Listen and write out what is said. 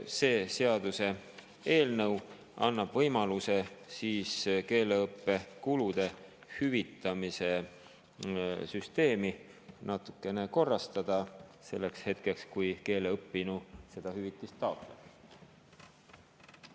See seaduseelnõu annab võimaluse keeleõppekulude hüvitamise süsteemi natukene korrastada selleks hetkeks, kui keelt õppinu seda hüvitist taotleb.